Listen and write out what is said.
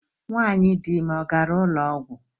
Nwanyị dịime ọ gara ụlọọgwụ?